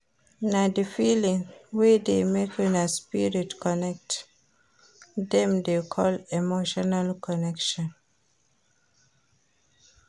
Na di feeling wey dey make una spirit connect dem dey call emotional connection.